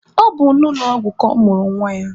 Ọ bụ n'ụlọ ọgwụ ka ọ mụrụ nwa ya.